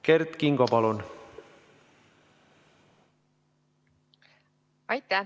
Kert Kingo, palun!